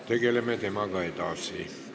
Kohaloleku kontroll, palun!